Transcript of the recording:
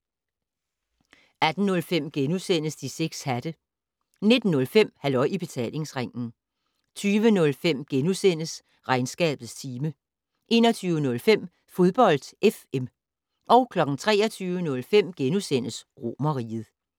18:05: De 6 hatte * 19:05: Halløj I Betalingsringen 20:05: Regnskabets time * 21:05: Fodbold FM 23:05: Romerriget *